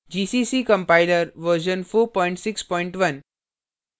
gcc compiler version 461